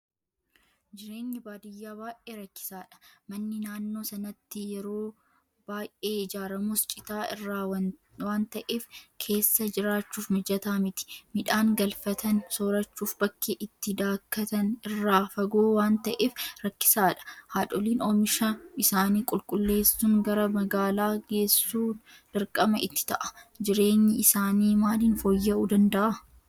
Jireenyi baadiyyaa baay'ee rakkisaadha. Manni naannoo sanatti yeeoo baay'ee ijaaramus Citaa irraa waanta'eef keessa jiraachuuf mijataa miti. Midhaan galfatan soorachuuf bakki itti daakkatan irraa fagoo waanta'eef rakkisaadha. Haadholiin oomisha isaanii qulqulleessuun gara magaalaa geessuun dirqama itti ta'a. Jireenyi isaanii maaliin fooyya'uu danda'a?